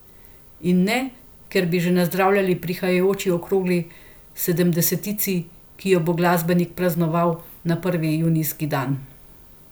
In ne ker bi že nazdravljali prihajajoči okrogli sedemdesetici, ki jo bo glasbenik praznoval na prvi junijski dan.